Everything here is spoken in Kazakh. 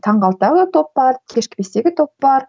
таңғы алтыдағы топ бар кешкі бестегі топ бар